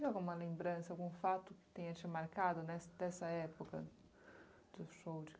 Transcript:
Teve alguma lembrança, algum fato que tenha te marcado nessa dessa época do show de